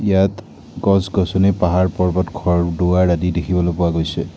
ইয়াত গছ-গছনি পাহাৰ-পৰ্বত ঘৰ-দুৱাৰ আদি দেখিবলৈ পোৱা গৈছে।